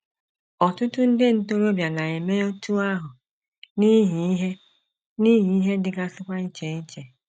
Ọtụtụ ndị ntorobịa na - eme otú ahụ, n’ihi ihe, n’ihi ihe dịgasịkwa iche iche.